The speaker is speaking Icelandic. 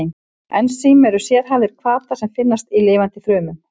Ensím eru sérhæfðir hvatar sem finnast í lifandi frumum.